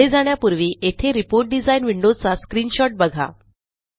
पुढे जाण्यापूर्वी येथे रिपोर्ट डिझाइन विंडोचा स्क्रीनशॉट बघा